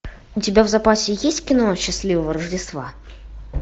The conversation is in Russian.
у тебя в запасе есть кино счастливого рождества